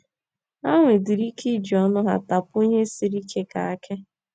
Ha nwedịrị ike iji ọnụ ha tapuo ihe sịrị ike ka akị.